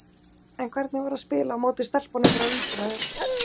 En hvernig var að spila á móti stelpunum frá Ísrael?